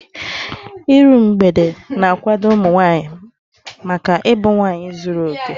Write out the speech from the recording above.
Iru mgbede na-akwado ụmụ nwaanyị maka ịbụ nwaanyị zuru okè.